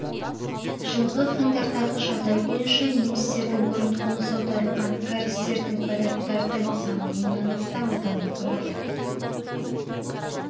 жылғы қаңтардағы жағдай бойынша немістердің бұрын қоныс аударылған кәрістердің поляктардың саны мыңнан астам адамды құрады